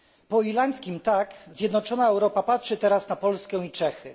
Po irlandzkim tak zjednoczona Europa patrzy teraz na Polskę i Czechy.